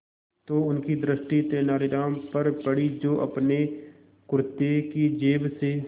तो उनकी दृष्टि तेनालीराम पर पड़ी जो अपने कुर्ते की जेब से